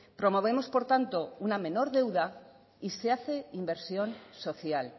promovemos por tanto una menor deuda y se hace inversión social